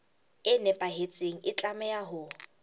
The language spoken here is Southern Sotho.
e nepahetseng e tlameha ho